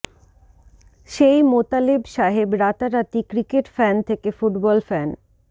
সেই মোতালেব সাহেব রাতারাতি cricket fan থেকে ফুটবল ফ্যান